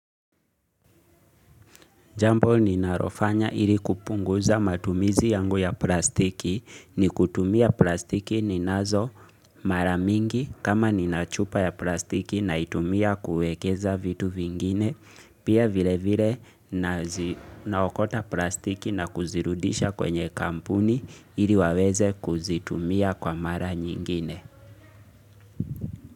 Jambo ninalofanya ili kupunguza matumizi yangu ya plastiki ni kutumia plastiki ninazo maramingi, kama nina chupa ya plastiki naitumia kuekeza vitu vingine. Pia vile vile naokota plastiki na kuzirudisha kwenye kampuni ili waweze kuzitumia kwa mara nyingine.